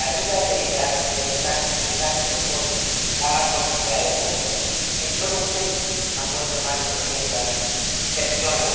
La ruta del Mediterráneo central es hoy la más mortífera del mundo en solo un mes han muerto más de doscientas personas.